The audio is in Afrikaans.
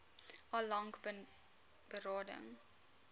al lank berading